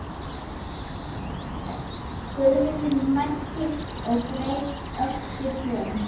Guðmundur mælti og greip öxi Björns.